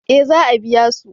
eh za a biya su